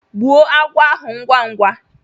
Gbuo agwọ ahu ngwá ngwá!